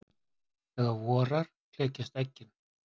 Þegar vorar klekjast eggin.